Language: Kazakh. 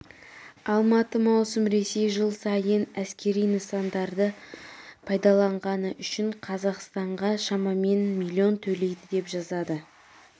алматы маусым ресей жыл сайын әскери нысандарды пайдаланғаны үшін қазақстанға шамамен миллион төлейді деп жазады